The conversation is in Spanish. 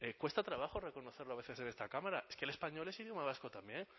cuesta trabajo reconocerlo a veces en esta cámara es que el español es idioma vasco también